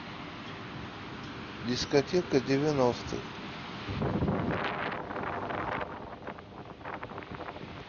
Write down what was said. дискотека девяностых